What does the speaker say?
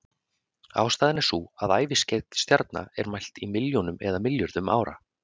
ástæðan er sú að æviskeið stjarna er mælt í milljónum eða milljörðum ára